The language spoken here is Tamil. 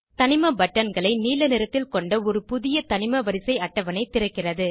தனிம பட்டன்களை நீல நிறத்தில் கொண்ட ஒரு புதிய தனிம வரிசை அட்டவணை திறக்கிறது